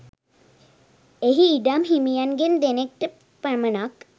එහි ඉඩම් හිමියන්ගෙන් දෙනෙක්ට පමණක්